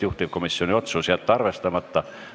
Juhtivkomisjoni otsus: jätta arvestamata.